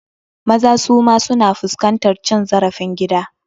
Maza suma su na fuskantar cin zarafin gida.